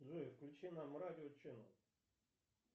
джой включи нам радио ченел